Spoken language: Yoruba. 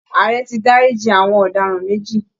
Ààrẹ ti dárí ji àwọn ọ̀daràn méjì